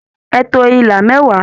Ẹ to ila mẹwa!